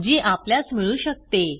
जी आपल्यास मिळू शकते